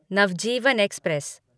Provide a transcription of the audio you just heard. Navjeevan express